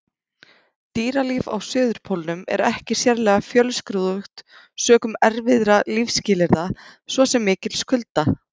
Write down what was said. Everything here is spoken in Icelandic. Dýralíf á Suðurpólnum er ekki sérlega fjölskrúðugt sökum erfiðra lífsskilyrða, svo sem mikils kulda.